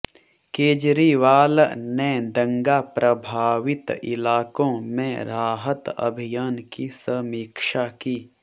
केजरीवाल ने दंगा प्रभावित इलाकों में राहत अभियान की समीक्षा की